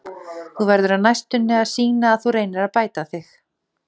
Þú verður á næstunni að sýna að þú reynir að bæta þig.